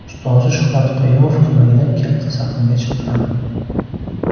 Ustozi Shuhrat Qayumov ko‘magida katta sahnaga chiqqan.